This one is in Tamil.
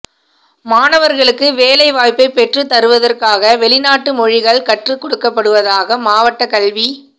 மாணவர்களுக்கு வேலை வாய்ப்பை பெற்று தருவதற்காக வெளிநாட்டு மொழிகள் கற்றுக் கொடுக்கப்படுவதாக மாவட்ட கல்வி